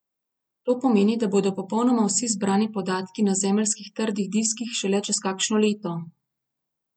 To pomeni, da bodo popolnoma vsi zbrani podatki na zemeljskih trdih diskih šele čez kakšno leto.